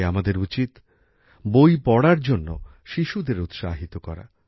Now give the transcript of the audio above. তাই আমাদের উচিত বইপড়ার জন্য শিশুদের উৎসাহিত করা